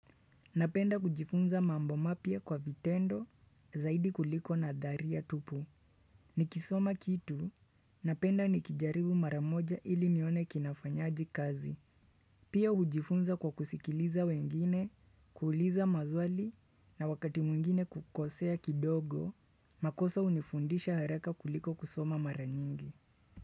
Napenda kujifunza mambo mapya kwa vitendo zaidi kuliko nadharia tupu. Nikisoma kitu, napenda nikijaribu maramoja ili nione kinafanyaje kazi. Pia hujifunza kwa kusikiliza wengine, kuuliza maswali na wakati mwingine kukosea kidogo, makosa hunifundisha haraka kuliko kusoma maranyingi.